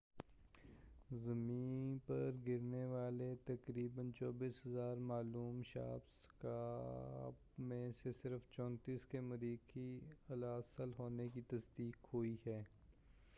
زمیں پر گرنے والے تقریبا 24,000 معلوم شہاب ثاقب میں سے صرف 34 کے مریخی الاصل ہونے کی تصدیق ہوئی ہے